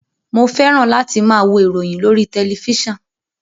Mo fẹ́ràn láti máa wo ìròyìn lórí tẹ̀lifísàn